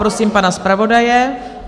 Prosím pana zpravodaje...